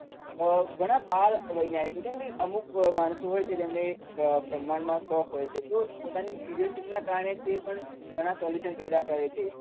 ઘણા બાળવૈજ્ઞાનીકો હોય કે અમુક માણસો હોય છે જેમને બ્રહમાંડમાં શોખ હોય છે તો પોતાની ક્યુરીયોસીટીના કારણે તે પણ ઘણા સોલ્યુશન પેદા કરે છે.